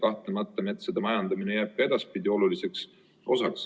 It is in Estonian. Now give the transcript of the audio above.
Kahtlemata jääb metsade majandamine ka edaspidi oluliseks.